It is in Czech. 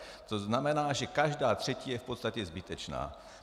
To znamená, že každá třetí je v podstatě zbytečná.